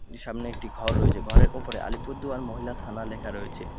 সামনে একটি ঘর রয়েছে ঘরের ওপরে আলিপুরদুয়ার মহিলা থানা লেখা রয়েছে।